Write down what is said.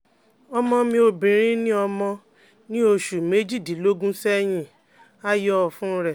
Ọmọ mi obìnrin ni ọmọ, ní oṣù méjìdínlógún sẹ́yìn a yọ ọ̀fun rẹ